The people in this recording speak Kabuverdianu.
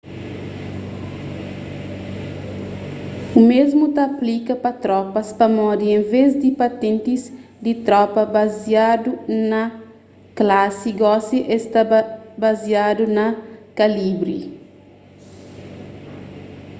omésmu ta aplika pa tropas pamodi enves di patentis di tropa baziadu na klasi gosi esta baziadu na kalibri